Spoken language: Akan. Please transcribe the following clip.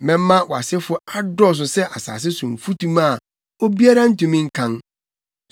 Mɛma wʼasefo adɔɔso sɛ asase so mfutuma a obiara ntumi nkan.